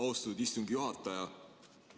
Austatud istungi juhataja!